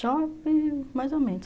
Shopping, mais ou menos.